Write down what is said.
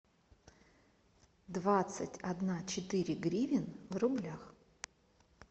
двадцать одна четыре гривен в рублях